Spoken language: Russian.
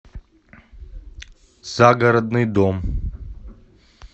загородный дом